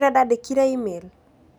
Ũrĩa ndandĩkĩire e-mail